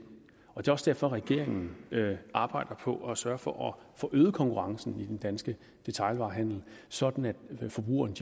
og det er også derfor regeringen arbejder på at sørge for at få øget konkurrencen i den danske detailhandel sådan at forbrugerne